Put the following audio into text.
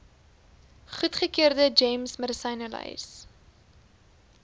goedgekeurde gems medisynelys